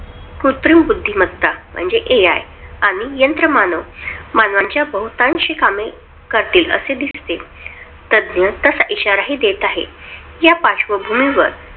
कृत्रिम बुद्धिमत्ता म्हणजे AI आणि यंत्रमानव मानवांची बहुतांश कामे करतील असे दिसते. तज्ज्ञ तसा इशाराही देत आहेत. या पार्श्वभूमीवर